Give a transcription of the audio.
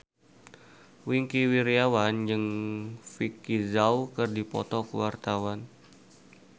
Wingky Wiryawan jeung Vicki Zao keur dipoto ku wartawan